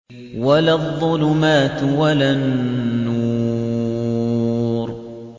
وَلَا الظُّلُمَاتُ وَلَا النُّورُ